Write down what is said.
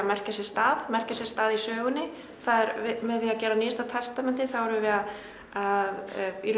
merkja sér stað merkja sér stað í sögunni með því að gera nýjasta testamentið erum við að að